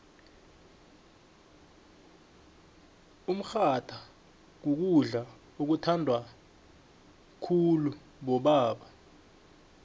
umrhatha kukudla okuthandwa khuulubobeba